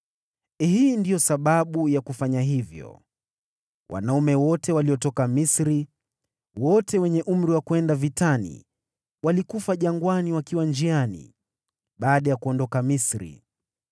Hii ndiyo sababu ya Yoshua kufanya hivyo: Wanaume wote waliotoka Misri, wote wenye umri wa kwenda vitani, walikufa jangwani wakiwa njiani baada ya kuondoka Misri.